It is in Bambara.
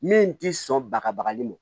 Min t'i sɔn baga bagali ma